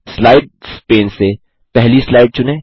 slides pane से पहली slide चुनें